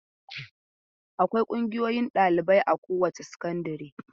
Akwai ƙungiyoyin ɗalibai a kowace sakandare.